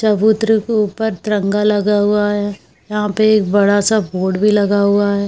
चबूतरे के ऊपर तिरंगा लगा हुवा है यहाँ पे एक बड़ा-सा बोर्ड भी लगा है।